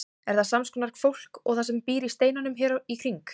Er þetta sams konar fólk og það sem býr í steinunum hér í kring?